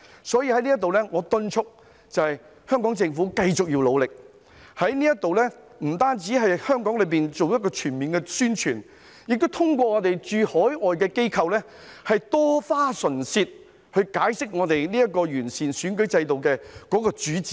所以，我在此敦促香港政府要繼續努力，不單在香港做全面宣傳，亦要通過駐海外機構多花唇舌，解釋今次完善選舉制度的主旨。